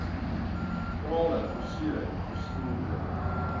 krale versiering versinnebeeld